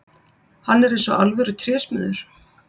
Hann er eins og alvöru trésmiður.